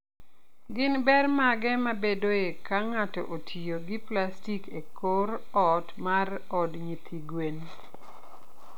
Gin ber mage mabedoe ka ng'ato otiyo gi plastik e korot mar od nyithi gwen?